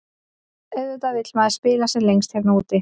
Auðvitað vill maður spila sem lengst hérna úti.